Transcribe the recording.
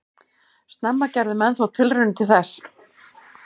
Snemma gerðu menn þó tilraunir til þess.